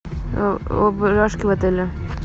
в отеле